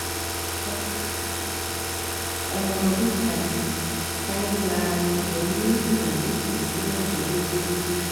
ọmọbìnrin mi ọmọ ọdún kan kan ń ya igbe ní ìgbà méje sí mẹ́jọ lójúmọ́